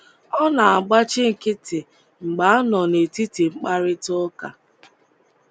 Ọ na-agbachi nkịtị mgbe a nọ n’etiti mkparịta ụka.